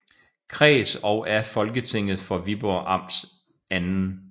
Kreds og af Folketinget for Viborg Amts 2